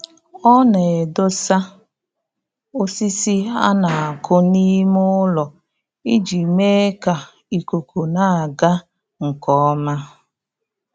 Ọ na-edosa osisi a na-akụ n'ime ụlọ iji mee ka ikuku na-aga nke ọma